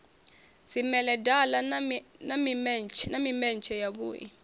dzimedala na mimetshe ya vhui